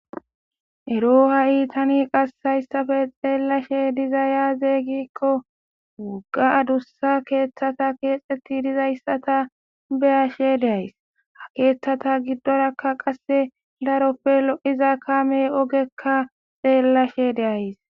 ero ha7i tani qassayssafe xeellashe diza yaazeeygikko wogga adussa keeththata keexetti dizayssata beyashe deays ha keeththata giddorakka qasse daroppe lo7iza kame ogekka xeellashe deays